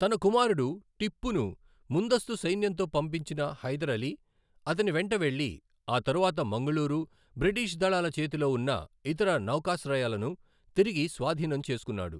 తన కుమారుడు టిప్పును ముందస్తు సైన్యంతో పంపించిన హైదర్ అలీ అతని వెంట వెళ్లి, ఆ తరువాత మంగుళూరు, బ్రిటిష్ దళాల చేతిలో ఉన్న ఇతర నౌకాశ్రయాలను తిరిగి స్వాధీనం చేసుకున్నాడు.